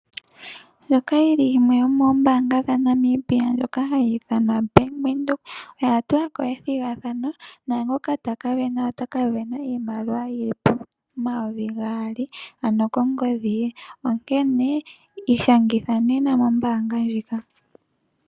Ombaanga yoBank Windhoek oya tula ko ethigathano. Naangoka ta ka sindana ota ka sindana iimaliwa omayuvi gaali kongodhi ye. Onkene ishangitha nena kombaanga ndjika.